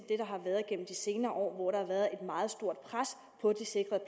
har været igennem de senere år hvor der har været et meget stort pres på de sikrede